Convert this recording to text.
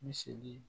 Misi